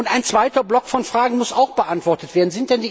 Ein zweiter Block von Fragen muss auch beantwortet werden.